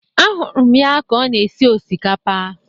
Ahụrụ m ya ka ọ na-esi osikapa